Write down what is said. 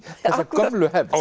þessa gömlu hefð